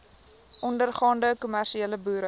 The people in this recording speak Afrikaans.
ondergaande kommersiële boere